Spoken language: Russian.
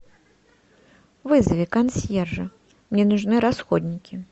вызови консьержа мне нужны расходники